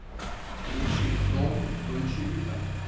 включи зомб дольче вита